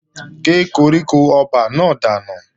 Gé koríko ọba náà dànù!